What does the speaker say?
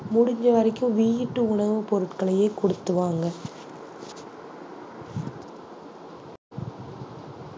முடிஞ்ச வரைக்கும் வீட்டு உணவுப் பொருட்களையே கொடுத்து வாங்க.